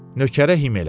Nökərə him elədi.